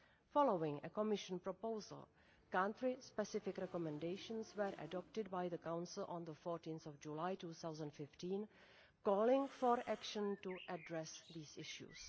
Following a Commission proposal, country specific recommendations were adopted by the Council on 14 July 2015, calling for action to address these issues.